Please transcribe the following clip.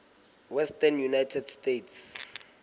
western united states